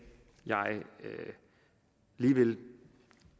jeg lige vil